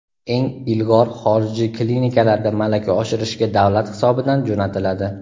eng ilg‘or xorijiy klinikalarda malaka oshirishga davlat hisobidan jo‘natiladi.